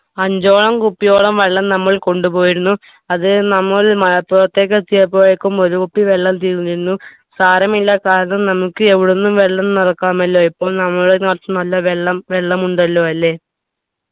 അഞ്ചോളം കുപ്പ്പിയോളം വെള്ളം നമ്മൾ കൊണ്ടുപോയിരുന്നു അത് നമ്മൾ മലപ്പുറത്തേക്ക് എത്തിയപ്പോഴേക്കും ഒരു കുപ്പി വെള്ളം തീർന്നിരുന്നു സാരമില്ല കാരണം നമുക്ക് എവിടുന്നും വെള്ളം നിറക്കാമല്ലോ ഇപ്പം നമ്മളെ നൊർച്ചും വെള്ളം വെള്ളം ഉണ്ടല്ലോ അല്ലെ